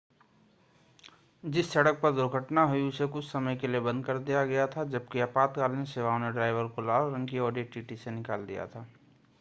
जिस सड़क पर दुर्घटना हुई उसे कुछ समय के लिए बंद कर दिया गया था जबकि आपाताकालीन सेवाओं ने ड्राइवर को लाल रंग की audi tt से निकाल दिया था